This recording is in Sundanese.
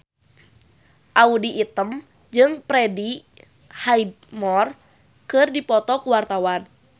Audy Item jeung Freddie Highmore keur dipoto ku wartawan